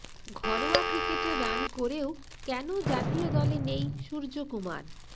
ঘরোয়া ক্রিকেটে রান করেও কেন জাতীয় দলে নেই সূর্যকুমার